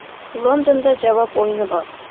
Londonda javob o‘yini bor.